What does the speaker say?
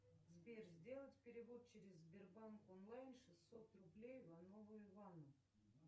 сбер сделать перевод через сбербанк онлайн шестьсот рублей иванову ивану